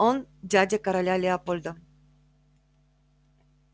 он дядя короля лепольда